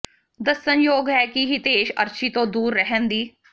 ਦੱਸਣਯੋਗ ਹੈ ਕਿ ਹਿਤੇਸ਼ ਅਰਸ਼ੀ ਤੋਂ ਦੂਰ ਰਹਿਣ ਦੀ